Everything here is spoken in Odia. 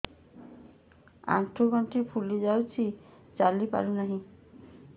ଆଂଠୁ ଗଂଠି ଫୁଲି ଯାଉଛି ଚାଲି ପାରୁ ନାହିଁ